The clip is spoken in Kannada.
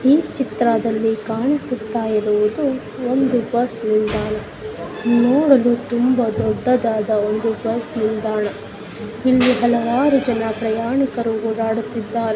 ಈ ಚಿತ್ರದಲ್ಲಿ ಕಾಣಿಸುತ್ತಾ ಇರುವುದು ಒಂದು ಬಸ್ ನಿಲ್ದಾಣ. ನೋಡಬಹುವೊಂದು ದೊಡ್ಡದಾದ ಬಸ್ ನಿಲ್ದಾಣ ಇಲ್ಲಿ ಹಲವಾರು ಜನ ಪ್ರಯಾಣಿಕರು ಓಡಾಡುತ್ತಿದ್ದಾರೆ.